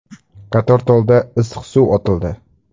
Qatortolda issiq suv otildi.